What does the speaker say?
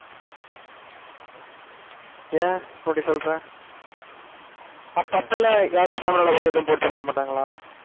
ஏன் அப்படி சொல்ற? அப்ப அப்ப எல்லாம் யாரு camera ல பார்த்து எதுவும் போட்டு தந்திட மாட்டாங்களா?